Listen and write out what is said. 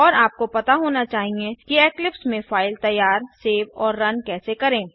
और आपको पता होना चाहिएकि इक्लिप्स में फ़ाइल तैयार सेव और रन कैसे करें